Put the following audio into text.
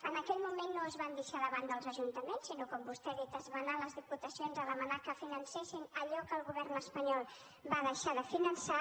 en aquell moment no es van deixar de banda els ajuntaments sinó que com vostè ha dit es va anar a les diputacions a demanar que financessin allò que el govern espanyol va deixar de finançar